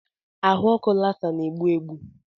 Ahụ ọkụ Lassa na-egbu egbu.